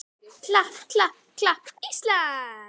klapp, klapp, klapp, Ísland!